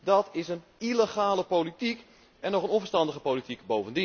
Dat is een illegale politiek, en ook nog eens onverstandige politiek.